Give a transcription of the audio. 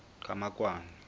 qhamakwane